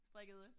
Strikkede